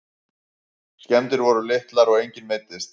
Skemmdir voru litlar og enginn meiddist